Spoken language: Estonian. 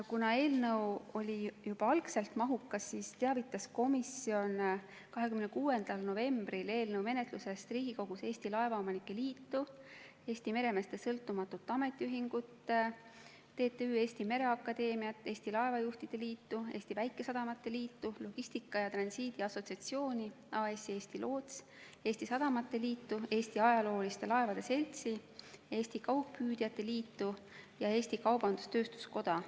Kuna eelnõu oli juba algselt mahukas, teavitas komisjon 26. novembril eelnõu menetlusest Riigikogus Eesti Laevaomanike Liitu, Eesti Meremeeste Sõltumatut Ametiühingut, TTÜ Eesti Mereakadeemiat, Eesti Laevajuhtide Liitu, Eesti Väikesadamate Liitu, Logistika ja Transiidi Assotsiatsiooni, AS-i Eesti Loots, Eesti Sadamate Liitu, Eesti Ajalooliste Laevade Seltsi, Eesti Kaugpüüdjate Liitu ja Eesti Kaubandus-Tööstuskoda.